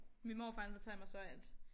Min morfar han fortalte mig så at